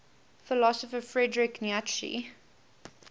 philosopher friedrich nietzsche